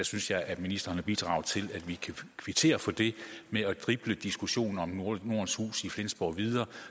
synes jeg at ministeren har bidraget til at vi kan kvittere for det ved at drible diskussionen om nordens hus i flensborg videre